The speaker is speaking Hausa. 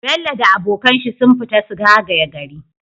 bello da abokan shi sun fita su zagaya gari